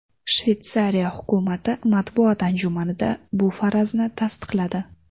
Shveysariya hukumati matbuot anjumanida bu farazni tasdiqladi.